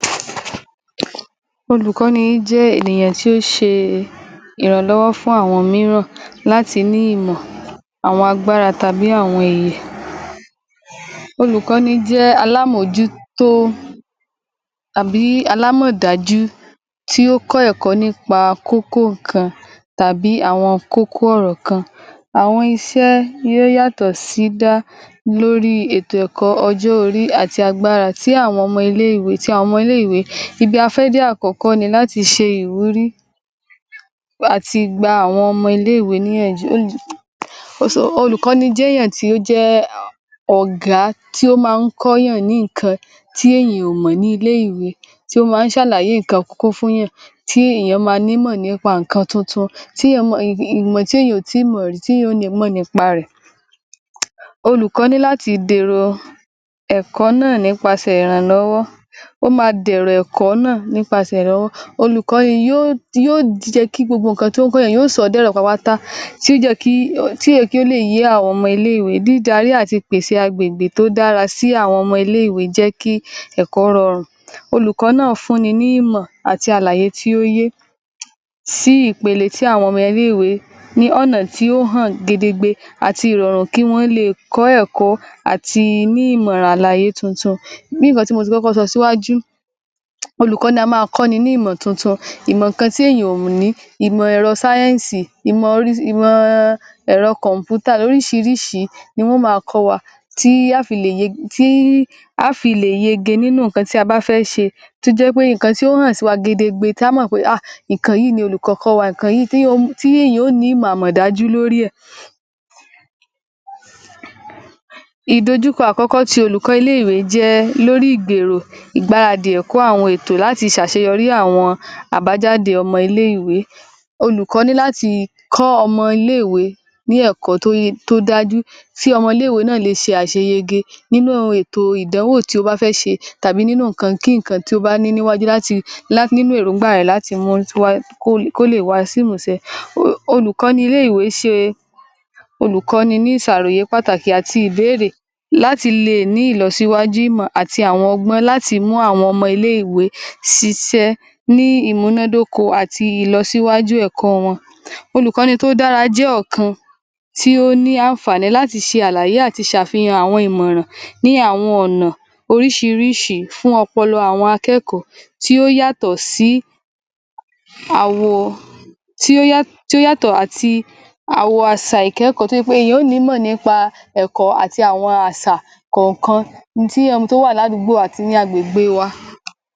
Olùkọ́ni jẹ́ ènìyàn tí ó ṣe e ìrànlọ́wọ́ fún àwọn mìíràn láti ní ìmọ̀, àwọn agbára tàbí àwọn ìyè. Olùkọ́ni jẹ́ alámọ́jútó àbí alámọ̀dájú tí ó kọ́ ẹ̀kọ́ nípa kókó nǹkan tàbí àwọn kókó ọ̀rọ̀ kan àwọn iṣẹ́ yóò yàtọ̀ sí lórí ètò ẹ̀kọ́ ọjọ́ orí àti agbára tí àwọn ọmọ ilé-ìwé, ti àwọn ọmọ ilé-ìwé. Ibi a fẹ́ dé àkọ́kọ́ ni láti ṣe ìwúrí àti gba àwọn ọmọ ilé-ìwé níyànjú o si, olùkọ́ni jẹ́ èèyàn tí ó jẹ́ ọ̀gá tí ó máa ń kọ́yàn ní nǹkan tí èèyàn ò mọ̀ nílé ìwé, tí ó máa ń ṣàlàyé kókó fúnyàn, tí ìyàn máa nímọ̀ nípa nǹkan tuntun, tí tíyàn, ìmọ̀ tíyàn ò tí ì mọ̀ rí, tíyàn ó nímọ̀ nípa rẹ̀. Olùkọ́ ní láti dẹ̀rọ̀ ẹ̀kọ́ náà nípasẹ̀ ìrànlọ́wọ́, ó máa dẹ̀rọ̀ ẹ̀kọ́ náà nípasẹ̀ ìrànlọ́wọ́. Olùkọ́ ni yóò, yóò jẹ́ kí gbogbo nǹkan tó ń kọ́yàn, yóò sọọ́ dẹ̀rọ̀ pátápátá, tí ó jẹ́ kí, tí ó jẹ́ kí ó le yé àwọn ọmọ ilé-ìwé. Dídarí àti ìpèsè agbègbè tó dára sí àwọn ọmọ ilé-ìwé jẹ́ kí ẹ̀kọ́ rọrùn. Olùkọ́ náà fúnni ní ìmọ̀ àti àlàyé tí ó yé sí ìpele tí àwọn ọmọ ilé-ìwé, ní ọ̀nà tí ó hàn gedegbe àti ìrọ̀rùn kí wọ́n le è kọ́ ẹ̀kọ́ àti ní ìmọ̀ràn àlàyé tuntun. Bí nǹkan tí mo ti kọ́kọ́ sọ síwájú, olùkọ́ ni a máa kọ́ni ní ìmọ̀ tuntun, ìmọ̀ kan tí èèyàn ò ní, ìmọ̀ ẹ̀rọ sáyẹ́ǹsì, ìmọ̀ orí, ìmọ̀ ọ ẹ̀rọ kọ̀m̀pútà, lóríṣiríṣi ni wọn ó máa kọ́ wa, tí á ó fi lè ye, tí á ó fi lè yege nínú nǹkan tí a bá fẹ́ ṣe. Tí ó jẹ́ pé nǹkan tí ó hàn wa gedegbe, tí a ó mọ̀ pé áà nǹkan yíì ni olùkọ́ kọ́ wa, nǹkan yíì teéyan, teéyàn ó ò ní ìmọ̀ àmọ̀dájú lórí ẹ̀. Ìdojúkọ àkọ́kọ́ ti olùkọ́ ilé-ìwé jẹ́ ẹ́, lórí ìgbèrò, ìgbáradì ẹ̀kọ́ àwọn ètò láti lè ṣaṣeyọrí àwọn àbájáde ọmọ ilé-ìwé. Olùkọ́ ní láti kọ́ ọmọ ilé-ìwé ní ẹ̀kọ́ tó ye, tó dájú tí ọmọ náà lè ṣe àṣeyege nínú ètò ìdánwò tí ó bá fẹ́ ṣe, tàbí nínú nǹkan kí nǹkan tí ó bá ní níwájú láti, nínú èróńgbà láti mú ń kó kóleè wá sí ìmúṣẹ. Olùkọ́ ní ilé-ìwé é ṣe olùkọ́ni ní ìṣàròyé pàtàkì àti ìbéèrè láti le è ní ìlọsíwájú ìmọ̀ àti àwọn ọgbọ́n láti mú àwọn ọmọ ilé-ìwé sisẹ́ ní ìmúnádóko àti ìlọsíwájú ẹ̀kọ́ wọn. Olùkọ́ni tó dára jẹ́ ọ̀kan tí ó ní àǹfààní láti ṣàlàyè àti ṣàfihàn àwọn ìmọ̀ràn ní àwọn ọ̀nà oríṣiírísi fún ọpọlọ àwọn akẹ́kọ̀ọ́ tí ó yàtọ̀ sí àwọ̀, tí ó yàtọ̀ àti, àwọ àsà ìkẹ́kọ̀ọ́, tí ó jẹ́ pé ìyàn ó ò nímọ̀ nípa ẹ̀kọ́ àti àwọ àsà kọ̀ọ̀kan tí ó wà ní àdúgbò àti ní agbègbè wa.